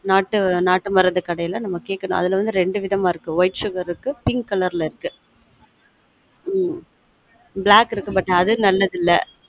நாட்டு மருந்து கடைல நாம்ம கேக்கனும் அதுல வந்து ரெண்டு விதமா இருக்கு whitesugar இருக்கு pinkcolor ல இருக்கு ம்ம் black இருக்கு but அது நல்லது இல்ல